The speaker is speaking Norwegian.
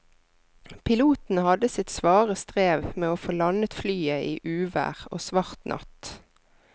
Piloten hadde sitt svare strev med å få landet flyet i uvær og svart natt.